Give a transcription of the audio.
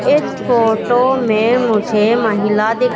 इस फोटो मे मुझे महिला दि--